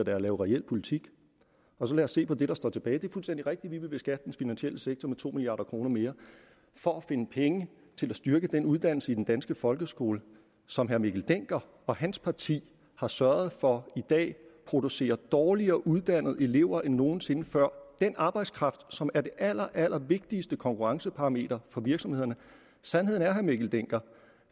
er at lave reel politik så lad os se på det der står tilbage og det er fuldstændig rigtigt at vi vil beskatte den finansielle sektor med to milliard kroner mere for at finde penge til at styrke uddannelsen i den danske folkeskole som herre mikkel dencker og hans parti har sørget for i dag producerer dårligere uddannede elever end nogen sinde før den arbejdskraft som er det allerallervigtigste konkurrenceparameter for virksomhederne sandheden er herre mikkel dencker